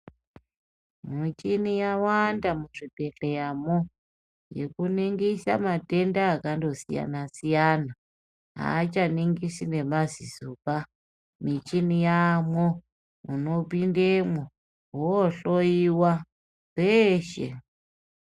Michini yawanda muzvibhedhleyamoo yekuningisaa matenda akandosiyana siyana, haachaningisi nemazisobaa, michini yaamo, unopindemo woohloyiwaa zveshee.